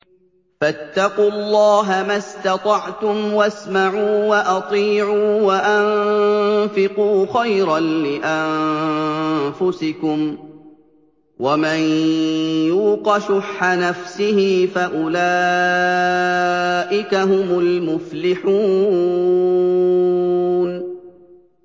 فَاتَّقُوا اللَّهَ مَا اسْتَطَعْتُمْ وَاسْمَعُوا وَأَطِيعُوا وَأَنفِقُوا خَيْرًا لِّأَنفُسِكُمْ ۗ وَمَن يُوقَ شُحَّ نَفْسِهِ فَأُولَٰئِكَ هُمُ الْمُفْلِحُونَ